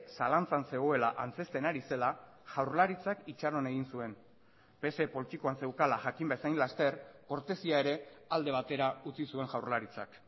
zalantzan zegoela antzezten ari zela jaurlaritzak itxaron egin zuen pse poltsikoan zeukala jakin bezain laster kortesia ere alde batera utzi zuen jaurlaritzak